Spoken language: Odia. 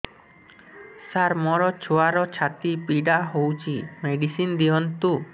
ସାର ମୋର ଛୁଆର ଛାତି ପୀଡା ହଉଚି ମେଡିସିନ ଦିଅନ୍ତୁ